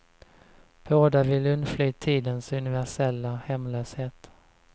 Båda vill undfly tidens universella hemlöshet.